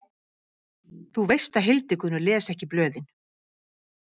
Þú veist að Hildigunnur les ekki blöðin.